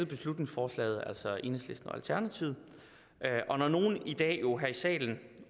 beslutningsforslaget altså enhedslisten og alternativet og når nogle i dag jo her i salen